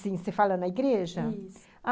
sim, você fala na igreja? isso...